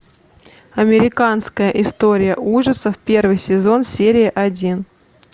американская история ужасов первый сезон серия один